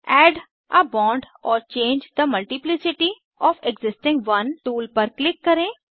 add a bond or change the multiplicity of existing one tool पर क्लिक करें